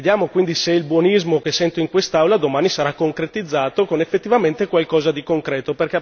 Vediamo quindi se il buonismo che sento in quest'Aula domani sarà concretizzato con effettivamente qualcosa di concreto.